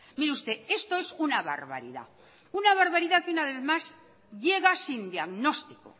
mire usted esto es una barbaridad una barbaridad que una vez más llega sin diagnóstico